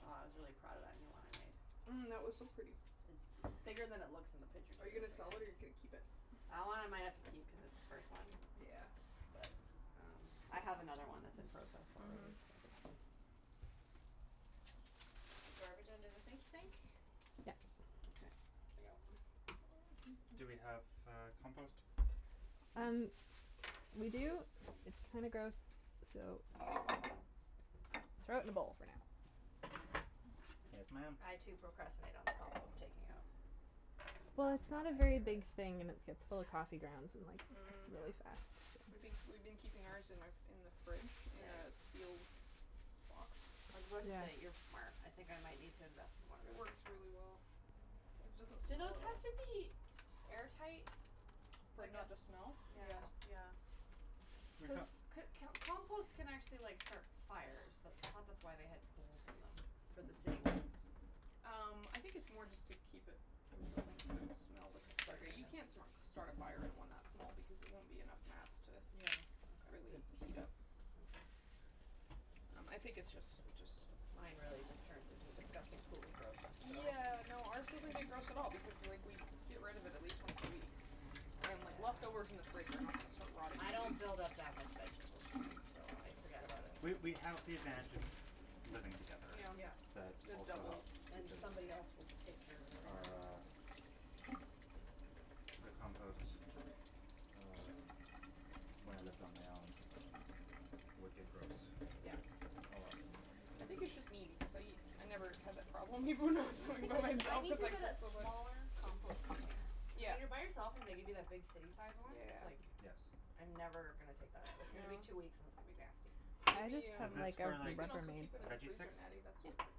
wow I was really proud of that new one I made. Mm that was so pretty! It's bigger than it looks in the picture too. Are you gonna It's sell like it the or you gonna keep it? That one I might have to keep cuz it's the first one. Yeah But, um, I have another one that's in process already, Mhm so The garbage under the sink sink? Yeah Okay Do we have, uh, compost? Um, we do, it's kinda gross, so Throw it in the bowl, for now Yes ma'am! I too procrastinate on the compost taking out. No, Well it's it's not not a my very favorite big thing and its gets full of coffee grounds and like, Mm really Yeah fast We been we've been keeping ours in our in the fridge in Ya- a yes sealed box I was about to say, "You're Yeah. smart", I think I might need to invest in one of It those works really well. It doesn't Do those have to be air tight? For it not to smell? Yeah Yes. yeah Cuz c- can't compost can actually like start fires, that's I thought that's why they have holes in them, for the city ones Um, I think it's more just to keep it from building up poop smell, Disgusting you can't that's start a fire in one that small because it won't be enough mass to Yeah, okay, really heat up okay Um I think it's just it's just Mine really just turns into a disgusting pool of grossness, so Yeah, no, ours doesn't get gross at all because like we get rid of it at least once a week I mean like leftovers in the Yeah fridge are not going to start rotting I in a don't week build up that much vegetable debris, so I forget about it We we have the advantage of living together Yeah Yeah That the also helps And Because, somebody else will take care of everything our the compost, uh, when I lived on my own, would get gross Yeah A lot more I easily think it's just me because I I never had that problem even when I was living by I myself need cuz to I get a get so much smaller compost container Yeah When you're by yourself and they give you that big city sized one, it's Yeah like, Yes I'm never gonna take that out, it's gonna be two weeks and it's gonna be nasty I just Natty have Is um, this like a, for you like can also Rubbermaid keep it in the veggie freezer sticks? Natty, that's what Yeah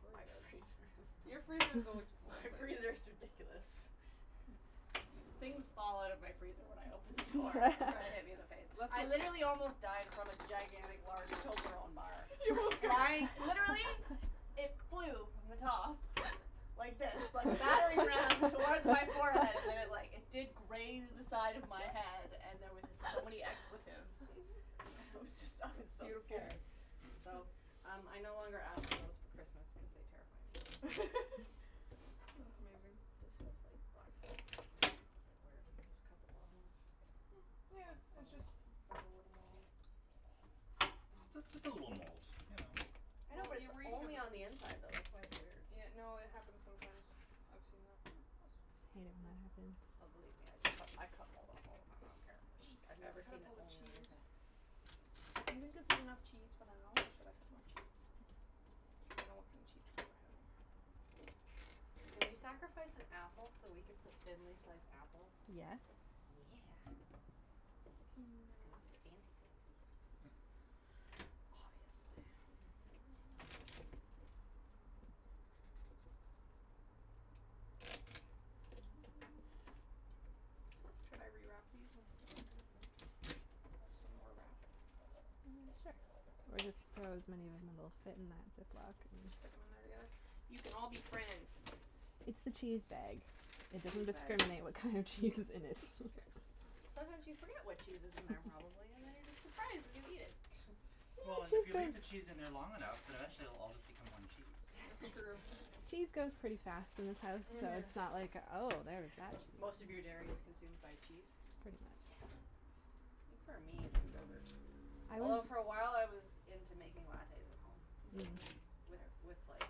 Courtney does My freezer Your is freezer is always full. My freezer is ridiculous Things fall out of my freezer when I open the door and try to hit me in the face. Let's I literally almost died from a gigantic large Toblerone bar, flying, literally, it flew from the top, like this, like a battering ram, towards my forehead and then it like, it did graze the side of my head and there was just so many expletives. I was just, I was so Beautiful scared So, um I no longer ask for those for Christmas cuz they terrify me. That's amazing This has like black stuff it's a bit weird, just cut the bottom off Mm, yeah, it's just, cut a little Just a, just a little mold, you know I know but it's only on the inside though, that's why it's weird Yeah, no, it happens sometimes, I've seen that I hate it when it happens. Oh believe me I d- I cut mold off all the time, I don't care. I've never Cut seen up it all the only on the cheese inside I think enough cheese for now, or should I cut more cheese? I don't want no cheese Can we sacrifice an apple so we can put thinly sliced apples? Yes Yeah It's gonna Mm be fancy pancy Oh yes Should I re-wrap these and put them back in the fridge? some more wrap Mm sure. Or just throw as many will fit in that zip-lock, and just You can all be friends. It's the cheese bag, it Cheese doesn't bag. discriminate what kind of cheese is in it. Mkay Sometimes you forget what cheese is in their probably and then you're just surprised when you eat it Well and if you leave the cheese in there long enough then eventually it will all just become one cheese That's true. Cheese goes pretty fast in this house, so Mhm it's not like oh there's that che- Most of your dairy is consumed by cheese Pretty Yeah. much. I think for me it's yogurt Although for awhile I was into making lattes at home Mm With with like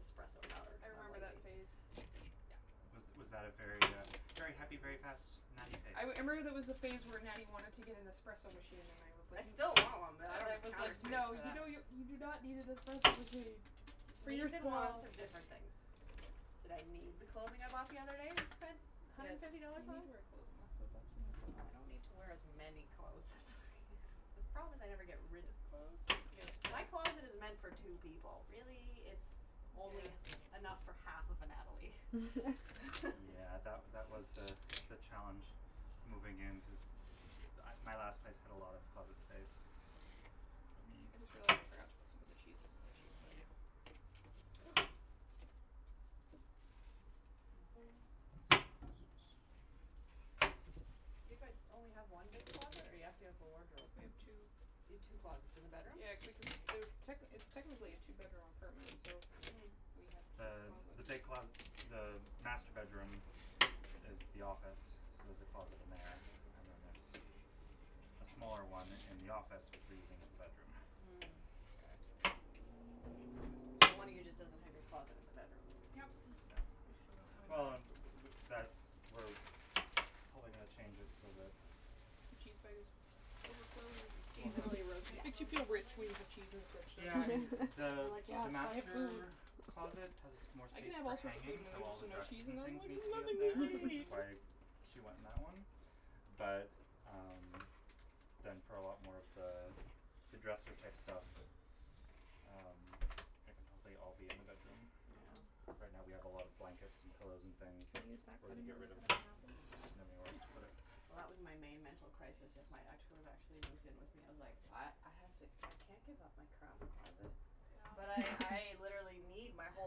espresso powder I cuz I'm remember that lazy phase Yeah Was was that a very uh very happy, very fast Natty phase? I wou- I remember there was a phase where Natty wanted to get an espresso machine and I was like, I n- still want one but I , and don't I have the was counter like, space "No for you that. don't n- , you do not need an espresso machine" Cuz For needs and wants yourself are different things. Did I need the clothing I bought the other day and spent a hundred Yes, and fifty dollars you need on? to wear clothing, that's a that's an Well important I don't need to wear as many clothes as I have. The problem is I never get rid of clothes. Yes My closet is meant for two people really, it's only Yeah enough for half of a Natalie. Yeah that wa- that was the the challenge moving in cuz m- my last place had a lot of closet space, for me I just realized I forgot to put some of the cheeses on the cheese plate Ooh. You guys only have one big closet or you have to have a wardrobe? We have two. You have two closets in the bedroom? Yeah techni- it's technically a two bedroom apartment, so, Mm. we have two Uh, closets the big closet, the master bedroom is the office so there's a closet in there and then there's a smaller one in the office which we're using as the bedroom Mm k So one of you just doesn't have your closet in the bedroom Yep Yeah. Well and w- w- that's we probably gonna change it so that the cheese Overflowing You We'll have seasonally rotate clothes or rich something? when you have cheese in the fridge so Yeah I mean the I'm like, the "Yes, so much food." master closet has more I can space have for all sorts of food hanging and then so all there's the no cheese dresses in and there, I'm things like, need to be up "Nothing there which to is eat." why she went in that one, but um, then for a lot more of the, the dresser type stuff um, like I'll I'll be in the bedroom. Mhm. Yeah Right now we have a lot of blankets and pillows and things, that, Can we use that we're gonna cutting get board to rid of, cut up an apple? just didn't have anywhere else to put it Well that was my main mental crisis if my ex would've actually moved in with me, I was like "I, I have to, I can't give up my craft closet", but I, I literally need my whole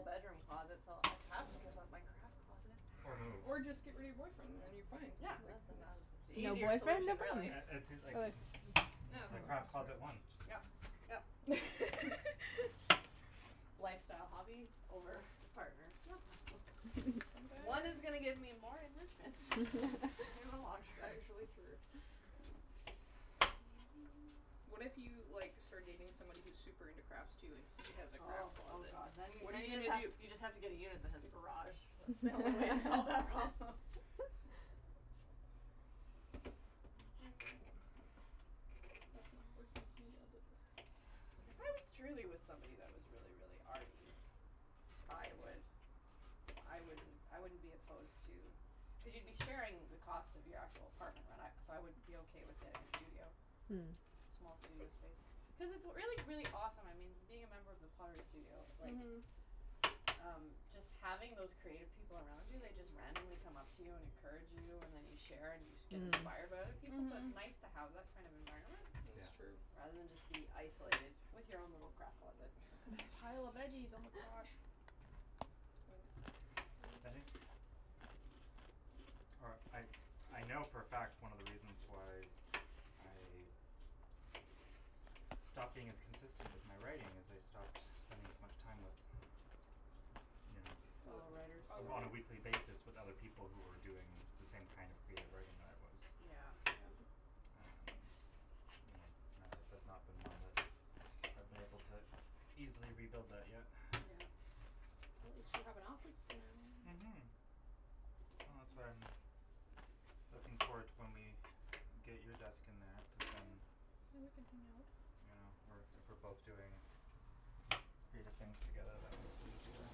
bedroom closet so I have to give up my craft closet Or move Or just get rid of your boyfriend then you're fine Yeah The easier solution really the craft closet won Yep yep Lifestyle hobby over partner? No problem. One is gonna get me more enrichment in the long term. What if you like, start dating somebody who's super into crafts too and he has a Oh craft oh closet? god. Then, What are then you you just gonna have, do? you just have to get a unit that has a garage. That's the only way to solve that problem. That's not working If I was truly with somebody that was really really arty, I would, I wouldn't, I wouldn't be opposed to, cuz you'd be sharing the cost of your actual apartment right, and I, so I would be okay with getting a studio. Mhm. Small studio space. Cuz it's really really awesome, I mean, being a member of the studio, like, Mhm um, just having those creative people around you, they just randomly come up to you and encourage you, and then you share and you get inspired by other Mm people, so it's nice Mhm to have that kind of environment, Is Yeah true rather than just be isolated with your own little craft closet. Pile of veggies oh my gosh Or I, I know for a fact one of the reasons why I stopped being as consistent with my writing, is I stopped spending as much time with, you Fellow writers know, on a weekly basis with other people who were doing the same kind of creative writing that I was Yeah Yeah And, you know, my life has not been one that I've been able to easily rebuild that yet Yeah At least you have an office now. Mhm Well that's why I'm, looking forward to when we, get you a desk in there, Yeah, cuz then then we can hang out Yeah we're if we're both doing creative things together that makes it easier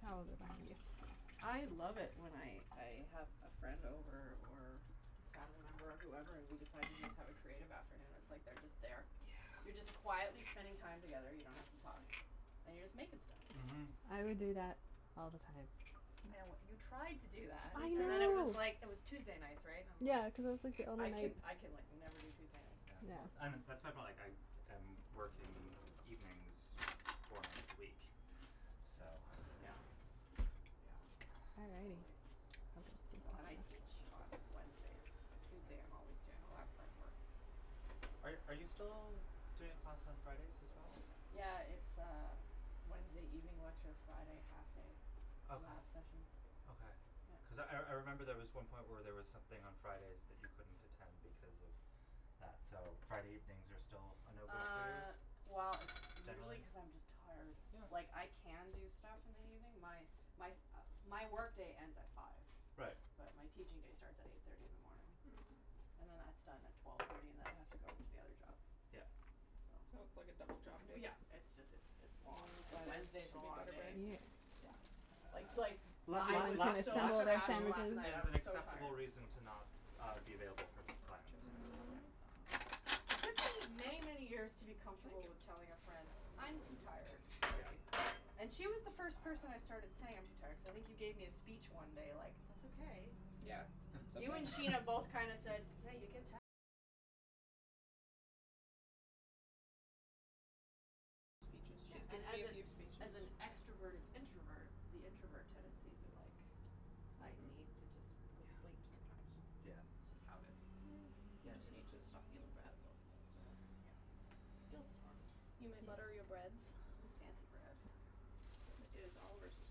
Tells about you. I love it when I I have a friend over or a family member whoever and we decide to just have a creative afternoon, it's like they're just there Yeah You're just quietly spending time together, you don't have to talk, and you're just making stuff Mhm I would do that all the time I know what, you tried to do that I and then it was know! like, it was Tuesday nights, right? And I'm li, Yeah cuz it was like the I only can night I can like never do Tuesday nights Yeah well Yeah and that's my point like I am working evenings four nights a week, so Yeah Yeah, totally Well and I teach on Wednesdays so Tuesday I'm always doing a lot of prep work. Are are you still doing a class on Fridays as well? Yeah it's uh Wednesday evening lecture Friday half day Okay. lab sessions Okay. Yeah Cuz I I remember there was one point where there was something on Fridays that you couldn't attend because of that so Friday evenings are still a no go for you, Uh, well it's usually generally? cuz I'm just tired. Yeah Like I can do stuff in the evening, my my my work day ends at five. Right But my teaching day starts at eight thirty in the morning. And then that's done at twelve thirty and then I have to go to the other job Yeah. So, So it's like a double job w day yeah, it's just it's it's long, Mmm and butter, Wednesday's a should we long butter day breads? s Yeah it's yeah Uh Like like, la I la was lack so lack of trashed spoons last night, I is sandwiches an was so acceptable tired. reason to not uh be available for plans. Yeah Um It took me many many years to be Thank comfortable with you. telling a friend "I'm too tired, Yeah sorry". And she was the first person I started saying "I'm too tired" cuz I think you gave me a speech one day like "that's okay". Yeah Yeah, and as a as an extroverted introvert, the introvert tendencies are like "I Mhm need to just go to sleep sometimes". Yeah yeah It's just how it is. Mm, you Yeah just it's need to stop feeling bad about it, that's all. Guilt's horrible. You may butter your breads. This fancy bread It is Oliver's, it's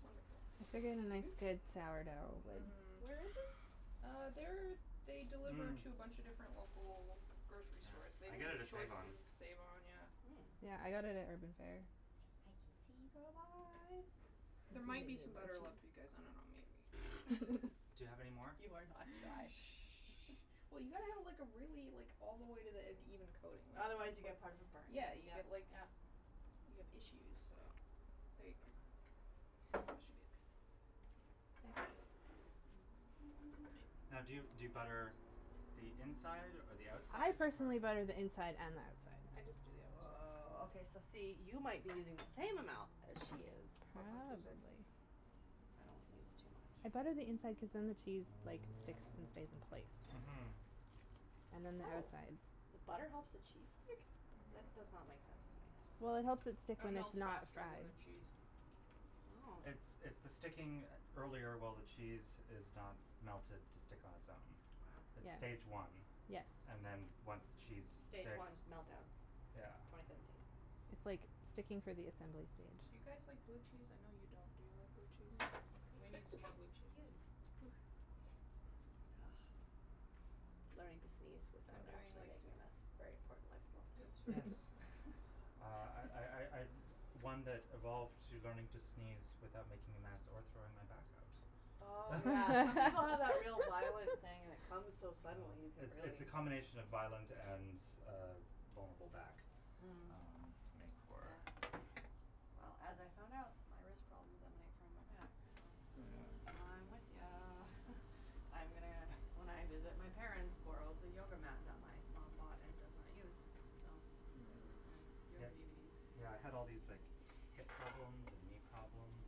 wonderful They get a nice Joop! good sourdough with Mhm Where is this? Uh, they're, they deliver Mmm to a bunch a different local grocery Yeah, stores, they I do get it at save-on Choices, save-on, yeah Mm Yeah I got it at Urban Fare I can see There might be cheese some butter left for you guys, I don't know maybe Do you have any more? You are not shy. Well you gotta have like a really, like all the way to the end even coating Otherwise you get part of it burned, Yeah yep you yep get like, yeah you have issues, so there you go That should be okay. Okay. Now do you do you butter the inside or the I outside or personally butter the inside and the outside. I just do the outside. Woah, okay so see, you might be using the same amount as she is. But on two sides Probably I don't use too much. I butter the inside cuz then the cheese like sticks and stays in place. Mhm And then the Oh! outside The butter helps the cheese stick? That Mhm does not make sense to me. Well it helps it stick It when it's melts not faster than fried. the cheese. Oh It's it's the sticking earlier while the cheese is not melted to stick on it's own. Wow It's stage Yeah one, Yes and then once the cheese Stage sticks, one meltdown, yeah twenty seventeen It's like, sticking for the assembly Do stage. you guys like blue cheese? I know you don't. Do you like blue cheese? Okay, we need some excuse more blue cheese. me, Ah Learning to sneeze I'm without doing actually like making a mess, very important life skill It's really Yes true Uh I I I I'm one that evolved to learning to sneeze without making a mess or throwing my back out. Oh yeah, some people have that real violent thing and it comes so Um, suddenly, you could it's it's really the combination of violent and uh vulnerable back, Mm um make for Yeah Well as I found out, my wrist problems emanate from my back. So, Mhm Yeah Mm I'm with ya. I am gonna, when I visit my parents borrow the yoga mat that my mom bought and does not use. So Yes, Mhm so yep, yoga DVDs yeah I had all these like hip problems and knee problems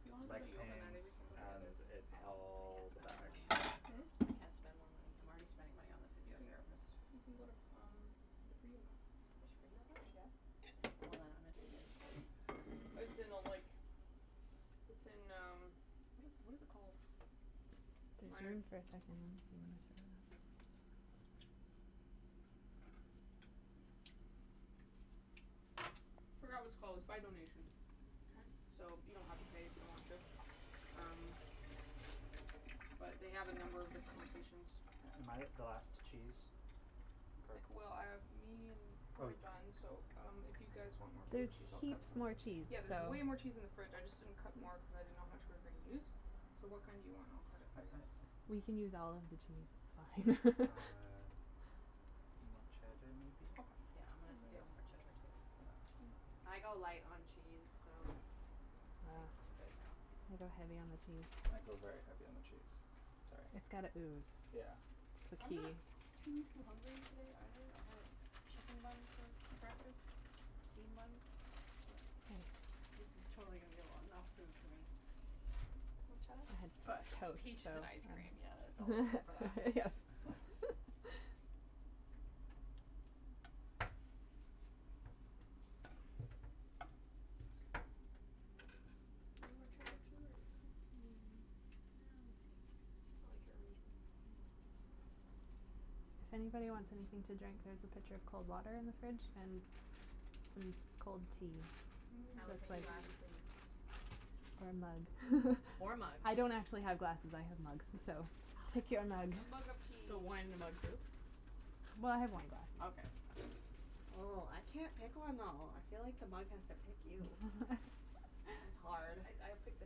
If you wanna go leg to yoga Natty pains we can go together. and I can't it's all the spend more back money. Hmm? I can't spend more money. I'm already spending money on the You can, physiotherapist you can go to f um, the free yoga There's free yoga? Yep Well then I'm interested. Hm It's in a like, it's in um, what is what is it called? There's room for a second Forgot what it's called, it's by donation Okay So you don't have to pay if you don't want to, um, but they have a number of different locations. Am I the last cheese? Mkay Well, um, me and- Oh we're you done, so um, if you guys want more blue There's cheese I'll cut heaps some more cheese Yeah there's so way more cheese in the fridge I just didn't cut more cuz I didn't know how much we were gonna use So what kind do you want and I'll cut it I for you. I I We can use all of the cheese, it's fine. Uh, more cheddar maybe? Okay Yeah I'm gonna steal more cheddar too so Yeah Mkay I go light on cheese so, I Uh think I'm good now. I go heavy on the cheese. I go very heavy on the cheese. Sorry. It's gotta ooze. Yeah That's the I'm key. not too too hungry today either, I had a chicken bun for breakfast, steamed bun, but this is totally going to be a lo 'nough food for me Want cheddar? I had But, toast so peaches and ice cream yeah there's always room for that. That's good. Do you want more cheddar too or you okay? Mm, nah I'm okay. I like your arrangement. Mm Anybody wants anything to drink there's a pitcher of cold water in the fridge and some cold tea. Mmm I will take a glass tea please. Or a mug Or mug I don't actually have glasses I have mugs, so, Oh, that's pick your mug. A awesome. mug of tea So wine in a mug too? Well I have wine glasses. Okay Oh I can't pick one though. I feel like the mug has to pick you. It's hard. I I'd pick the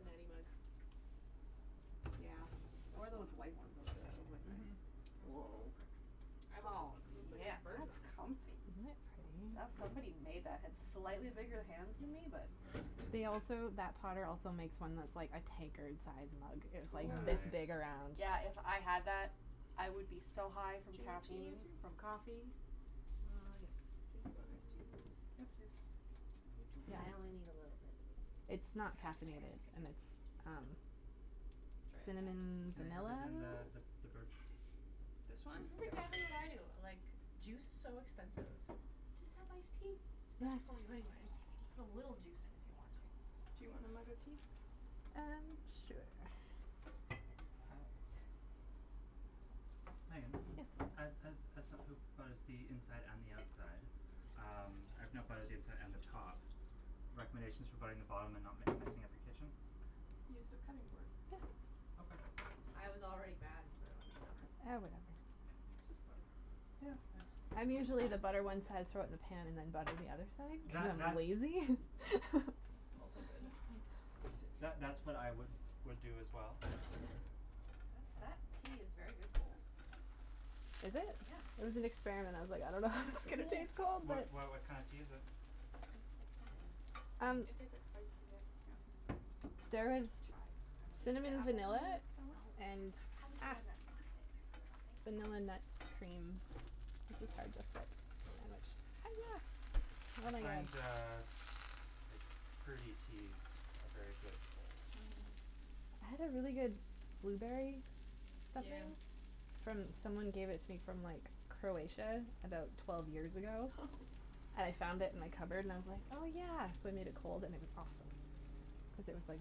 Natty mug Yeah. Or one That's the of one those I'm white ones. Those look mhm nice. I'd want this Oh one cuz it looks like it yeah has birds on that's it comfy. Isn't That it pretty? somebody made that had slightly bigger hands than me but They also that potter also makes one that's like a tankard size mug, it's like Ooo this Nice! big around Yeah if I had that I would be so high from Do you want tea caffeine Matthew? from coffee Uh, yes You want iced tea? please Yes please You too? I only need a little bit please. It's not caffeinated and it's um Try it that cinnamon Can I have vanilla? it in the th the birch This one? Yes This is yes exactly what I please do. Like, juice's so expensive. Just have iced tea, it's better for you anyways, you put a little juice in if you want juice Do you want a mug of tea? Um, sure Okay Uh Meagan, Yes as as as som who butters the inside and the outside, um, I've now buttered the inside and the top, recommendations for buttering the bottom and not m messing up your kitchen? Use the cutting board Okay I was already bad and put it on the counter. Eh whatever Just butter Yeah I jus I'm usually the butter one side throw it in the pan and then butter the other side That cuz I'm that's lazy. Also good See that that's what I would would do as well. That Um tea is very good cold. Is it? Yeah It was an experiment, I was like, I don't know how this is gonna taste cold What but why what kinda tea is it? Like cinamonny Um It Hmm tastes like spice tea, yeah Yeah There is Chai kinda Did you get cinnamon, apples on vanilla your sandwich? No, and I was the ah one that wanted it, I forgot thank you vanilla nut cream This is hard to flip, the sandwich, I find hiyah! uh like fruity teas are very good cold. Mhm Mhm I had a really good blueberry something Yeah from someone gave it to me from like Croatia about twelve years ago I found it in the cupboard and I was like "oh yeah" so I made it cold and it was awesome, cuz it was like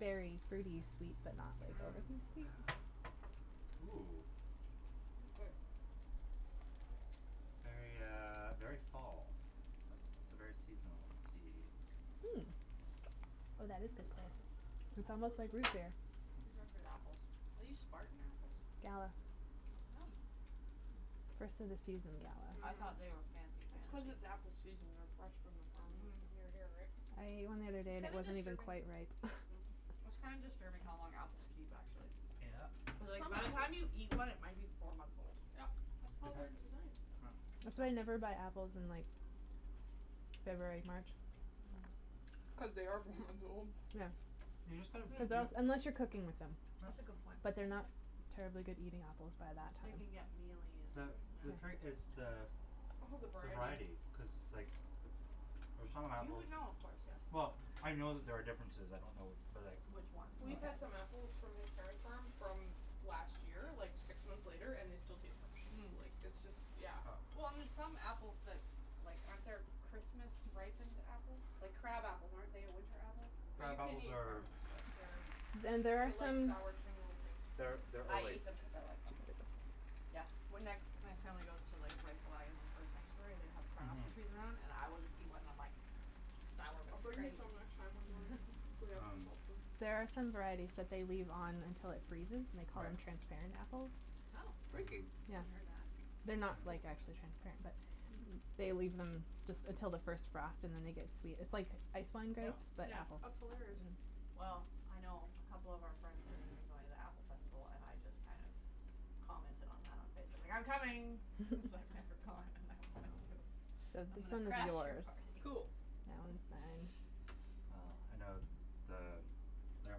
berry fruity sweet but not like Mmm overly sweet Ooh That's good. Very uh very fall, it's it's a very seasonal tea. Hm Oh that is good. This It's apple almost is so like root good. beer. These are good apples, are these spartan apples? Gala Hm First of the season gala I Mhm thought they were fancy It's cuz fancy. it's apple season and they're fresh from the farm, like, mhm near here right? I ate one the other day It's and it kinda wasn't even disturbing quite ripe. it's kinda disturbing how long apples keep actually. Yep Cuz like Some by the time you apples eat one it might be four months old. Yep, that's how they're designed. That's why I never buy apples in like February March Mm Cuz they are four months old. Yeah You just gotta, hm Because they're yeah als- unless you're cooking with them That's a Yep good point. But they're not terribly good eating apples by that They time. can get mealy and The Mhm the yeah trait is the All the the variety variety cuz like, f for some You apples, would know of course yes well, I know that there are differences I don't know but like Which ones We've but had some apples from his parents' farm from last year, like six months later, and they still taste fresh Mm like it's just, yeah Well and there's some apples that like, aren't there Christmas ripened apples, like crab apples, aren't they a winter apple? Well you Crab can't apples eat crab are apples fresh, they're, And there are they're like some sour tiny little things, you can't They're eat them they're I fresh. ate them cuz I like them. Yeah when I my family goes to like Reifel Island Bird Sanctuary they have crab Mhm apples trees around and I will just eat one and I'm like Sour but I'll it's bring you great! some next time we go, if we have Um There are some varieties that they leave on until it freezes and they call Right them transparent apples. Oh, Freaky Mhm Yeah haven't heard that. They're not Cool like, Yeah actually transparent but They leave them just until the first frost and then they get sweet, it's like ice wine Yeah grapes but Yeah apple That's hilarious Mm Well Mm I know a couple of our friends are going to be going to the apple festival and I just kind of commented on that on Facebook li "I'm coming!" Cuz I've never gone and I want to. Yeah So I'm this gonna one is crash you're yours. party! Cool That one's Mm mine. well I know th the there on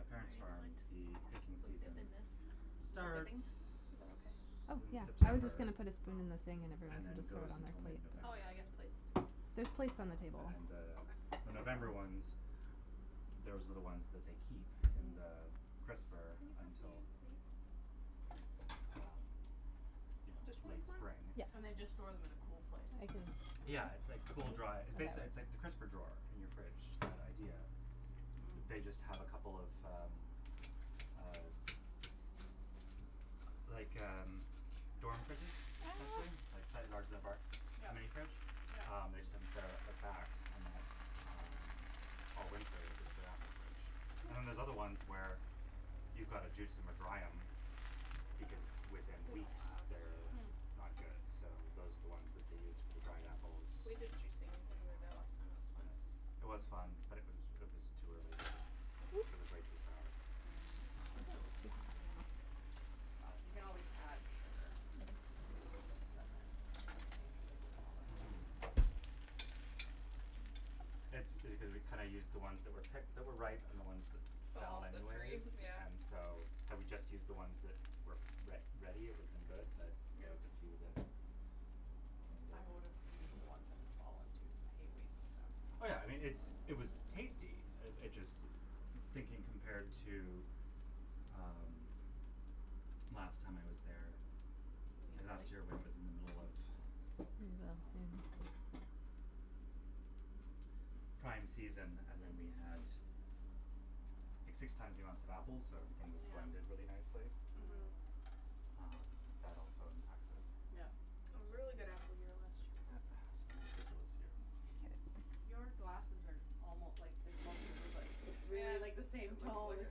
my Why parent's farm don't you the picking put, some season dip in this, for starts dipping, is that okay? Oh in yeah, I was September just gonna put a spoon in the thing and and everyone can then just throw goes it on their until mid plate but Oh November. yeah I guess plates too There's plates on the Um table. and the Okay the November ones, those are the ones that they keep in the crisper Can you pass me until a plate? Um you know This one's late mine? Spring Oh mhm Yeah And they just store them in a cool place? I can Yeah it's like cool dry, basically it it's like the crisper drawer in your fridge, that idea They just have a couple of um Mm uh Like um, dorm fridges essentially like a bar, a Yep mini fridge, yep um they just have them set up at the back and that all winter is their apple fridge And then there's Hm other ones where, you've gotta juice em or dry em because within They don''t weeks last, they're yeah Hm not good, so those are the ones that they use for the dried apples. We did juicing when we were there Um last time, it was fun yes, it was fun but it was it was too early they were it was Whoops! way too sour, Mm I thought That it um was was too bad fine. But You can always add sugar. But then you have to change your labels and all that stuff Mhm That's because we kinda used the ones that were picked that were ripe and the ones that Fell fell off the tree, anyways yeah and so, had we just used the ones that were re ready it would have been good but there Yep was a few that ruined I it. would've use the ones that had fallen too cuz I hate wasting stuff. Oh yeah I mean, it's it was tasty, uh it just thinking compared to um, last time I was there, or last year when it was in the middle of um Prime season and then we Mhm had six times the amount of apples so everything was blended really nicely. Mhm Mhm Um that also impacts it. Yep It was a really good apple year last year Was a ridiculous year Your glasses are almo like there's more blue but it's Ah, really it like the looks same tone as like,